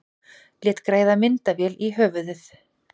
Lét græða myndavél í höfuðið